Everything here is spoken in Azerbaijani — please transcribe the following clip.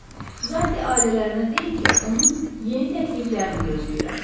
Zati ailələrinə deyin ki, onun yeni təkliflərini gözləyirəm.